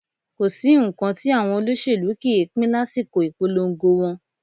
Kò sí nǹkan tí àwọn olóṣèlú kì í ń pín lásìkò ìpolongo wọn